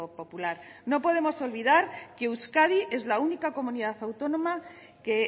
popular no podemos olvidar que euskadi es la única comunidad autónoma que